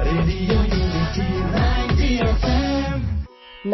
audio শুনাব বিচাৰো